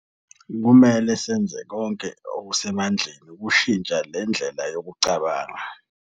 Kumele senze konke okusemandleni ukushintsha le ndlela yokucabanga.